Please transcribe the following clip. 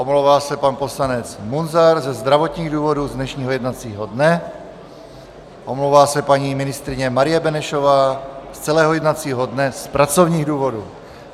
Omlouvá se pan poslanec Munzar ze zdravotních důvodů z dnešního jednacího dne, omlouvá se paní ministryně Marie Benešová z celého jednacího dne z pracovních důvodů.